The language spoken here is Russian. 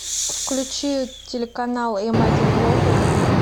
включи телеканал м один глобал